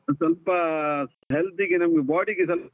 ಸ್ವಲ್ಪ health ಗೆ ನಮ್ body ಗೆ .